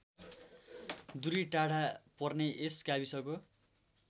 दुरी टाढा पर्ने यस गाविसको